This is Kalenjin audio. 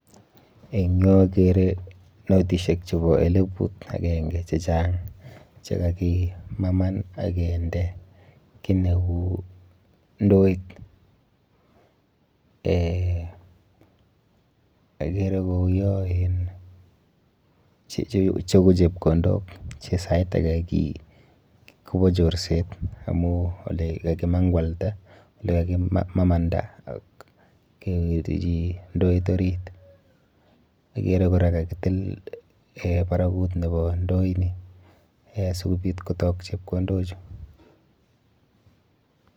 Eng yu akere notishek chepo eleput akenke chechang chekakimaman akende kiy neu ndoit. Eh akere kouyo en chu ko chepkondok che sait ake kopo chorset amu olelalimang'walda, olekakimamanda ak kewirchi ndoit orit. Akere kora kakitil eh barakut nepo ndoini eh sikobit kotok chepkondochu.